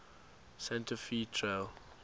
santa fe trail